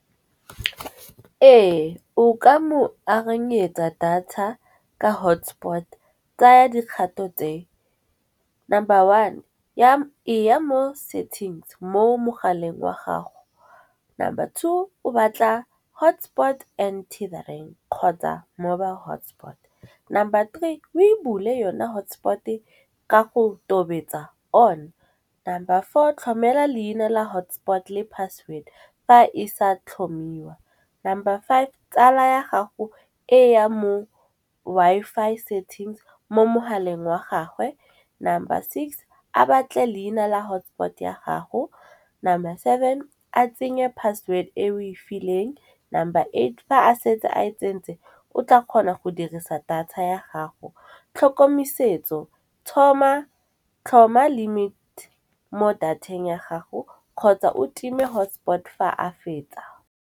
Ee, o ka mo arenyetsa data ka hotspot tsaya dikgato tseo. Number one e ya mo settings mo mogaleng wa gago, number two o batla hotspot and kgotsa mobile hotspot. Number three o e bule yona hotspot-e ka go tobetsa on. Number four tlhomela leina la hotspot le password fa e sa tlhomiwa, number five tsala ya gago e ya mo Wi-Fi settings mo mogaleng wa gagwe. Number six a batle leina la hotspot ya gago, number seven a tsenye password-e e we fileng. Number eight fa a setse a e tsentse o tla kgona go dirisa data ya gago, tlhokomesetso tlhoma limit mo data-eng ya gago kgotsa o time hotspot fa a fetsa.